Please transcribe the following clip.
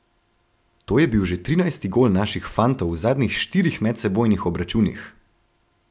To je bil že trinajsti gol naših fantov v zadnjih štirih medsebojnih obračunih.